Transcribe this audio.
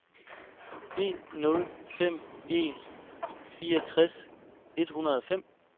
en nul fem en fireogtres et hundrede og fem